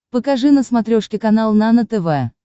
покажи на смотрешке канал нано тв